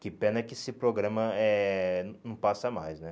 Que pena que esse programa eh não não passa mais, né?